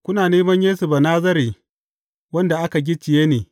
Kuna neman Yesu Banazare wanda aka gicciye ne.